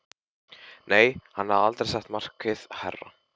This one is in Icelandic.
Nei, hann hafði aldrei sett markið hærra.